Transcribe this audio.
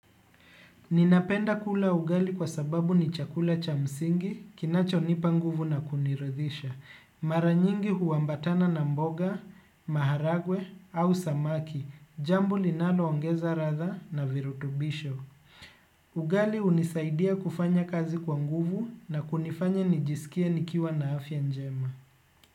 Ninapenda kula ugali kwa sababu ni chakula cha msingi, kinacho nipa nguvu na kuniridhisha. Maranyingi huambatana na mboga, maharagwe au samaki, jambo linaloongeza ladha na virutubisho. Ugali hunisaidia kufanya kazi kwa nguvu na kunifanya nijisikie nikiwa na afya njema.